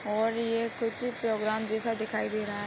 और ये कुछ प्रोग्राम जैसा दिखाई दे रहा है।